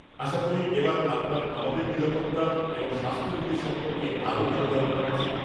আশা করি এবার আপনার আমাদের নিরাপত্তা এবং স্বাস্থবিধি সম্পর্কে আরও ভাল ধারণা হয়েছে।